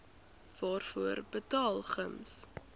waarvoor betaal gems